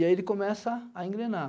E aí ele começa a engrenar.